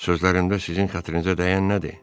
Sözlərimdə sizin xətrinizə dəyən nədir?